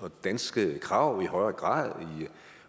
og danske krav i højere grad